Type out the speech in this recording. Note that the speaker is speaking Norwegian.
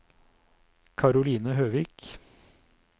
Karoline Høvik